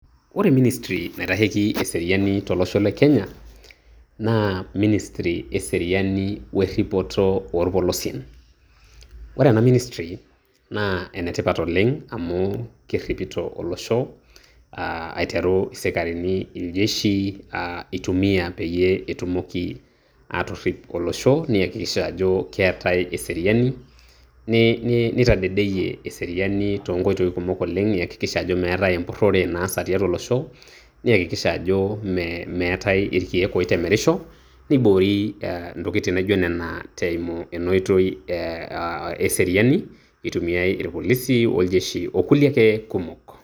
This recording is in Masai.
ore ministry naitasheiki eseriani tolosho le kenya, naa ministry eseriani eripoto oorpolosien, ore ena ministry naa enetipat oleng amu keripito olosho, aiteru isikarini, iljeshi itumia peyie etumoki aatirip olosho, neyakikisha ajo keetae eseriani, nitadedeyie eseriani too nkoitoi kumok oleng eyakikisha ajo meetae empurore naasa tiatua olosho. niakikisha ajo meetae irkeek oitemerisho, niboori intokitin naaijo nena eimu ena oitoi eseriani eitumiae irpolisi, orjeshi okulie ake kumok.